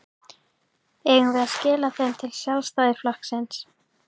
Eigum við að skila þeim til Sjálfstæðisflokksins?